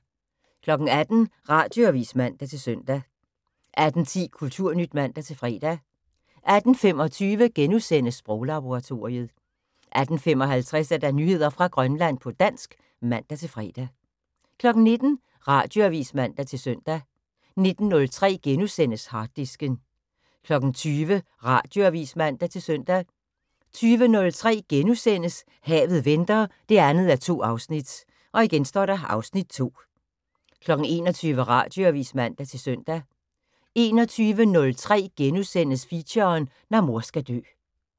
18:00: Radioavis (man-søn) 18:10: Kulturnyt (man-fre) 18:25: Sproglaboratoriet * 18:55: Nyheder fra Grønland på dansk (man-fre) 19:00: Radioavis (man-søn) 19:03: Harddisken * 20:00: Radioavis (man-søn) 20:03: Havet venter 2:2 (Afs. 2)* 21:00: Radioavis (man-søn) 21:03: Feature: Når mor skal dø *